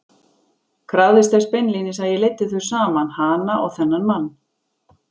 Krafðist þess beinlínis að ég leiddi þau saman, hana og þennan mann!